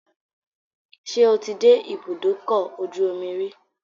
Ṣé o ti dé ibùdókọ̀-ojú-omi rí?